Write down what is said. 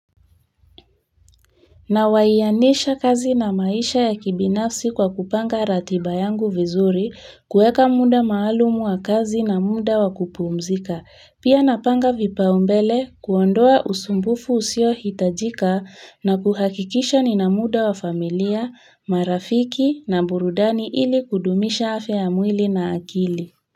Nawianisha kazi na maisha ya kibinafsi kwa kupanga ratiba yangu vizuri, kuweka muda maalumu wa kazi na muda wa kupumzika. Pia napanga vipaumbele, kuondoa usumbufu usiohitajika na kuhakikisha nina muda wa familia, marafiki na burudani ili kudumisha afya ya mwili na akili.